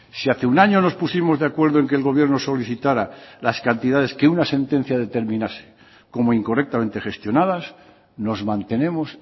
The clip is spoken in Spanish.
si hace un año nos pusimos de acuerdo en que el gobierno solicitara las cantidades que una sentencia determinase como incorrectamente gestionadas nos mantenemos